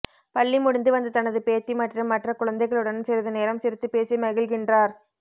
பள்ளி முடிந்து வந்த தனது பேத்தி மற்றும் மற்ற குழந்தைகளுடன் சிறிது நேரம் சிரித்து பேசி மகிழ்கின்றார்